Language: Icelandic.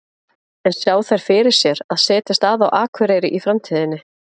En sjá þær fyrir sér að setjast að á Akureyri í framtíðinni?